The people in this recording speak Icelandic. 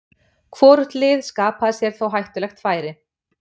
Hvorugt lið skapaði sér þó hættulegt færi.